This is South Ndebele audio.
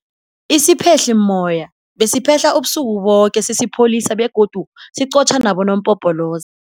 Isiphehlimmoya besiphehla ubusuku boke sisipholisa begodu siqotjha nabonompopoloza.